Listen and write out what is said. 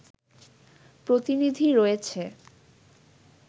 প্রতিনিধি রয়েছে